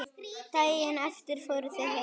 Daginn eftir fóru þau heim.